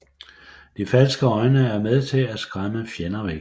De falske øjne er med til at skræmme fjender væk